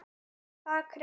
Það kem